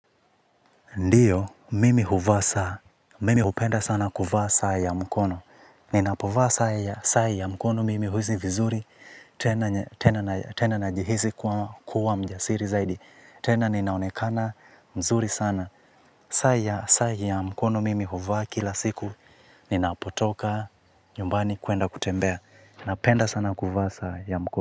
Ndiyo, mimi huvaa saa, mimi hupenda sana kuvaa saa ya mkono. Ninapovaa saa ya mkono mimi huhisi vizuri, tena najihisi kuwa mjasiri zaidi. Tena ninaonekana mzuri sana. Saa ya mkono mimi huvaa kila siku, ninapotoka, nyumbani kuenda kutembea. Napenda sana kuvaa saa ya mkono.